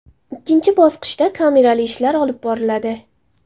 Ikkinchi bosqichda kamerali ishlar olib boriladi.